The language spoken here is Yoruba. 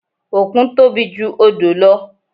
Òkun tóbi ju odò lọ